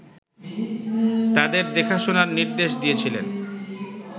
তাদের দেখাশোনার নির্দেশ দিয়েছিলেন